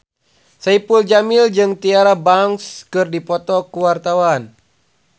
Saipul Jamil jeung Tyra Banks keur dipoto ku wartawan